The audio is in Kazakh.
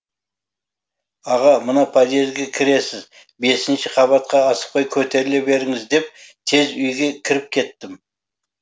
аға мына подъезге кіресіз бесінші қабатқа асықпай көтеріле беріңіз деп тез үйге кіріп кеттім